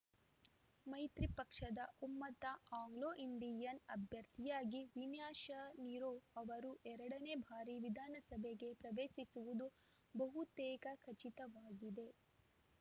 ಮೈತ್ರಿ ಪಕ್ಷದ ಒಮ್ಮತ ಆಂಗ್ಲೋಇಂಡಿಯನ್‌ ಅಭ್ಯರ್ಥಿಯಾಗಿ ವಿನಿಶಾ ನಿರೋ ಅವರು ಎರಡನೇ ಬಾರಿ ವಿಧಾನಸಭೆಗೆ ಪ್ರವೇಶಿಸುವುದು ಬಹುತೇಕ ಖಚಿತವಾಗಿದೆ